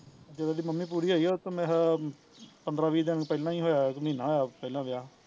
ਜਦੋਂ ਉਹਦੀ ਮੰਮੀ ਪੂਰੀ ਹੋਈ ਉਹਦੇ ਤੋਂ ਮੇਰੇ ਖਿਆਲ ਪੰਦਰਾਂ ਵੀਹ ਦਿਨ ਪਹਿਲਾਂ ਈ ਹੋਇਆ ਕਿ ਮਹੀਨਾ ਹੋਇਆ ਪਹਿਲਾਂ ਵਿਆਹ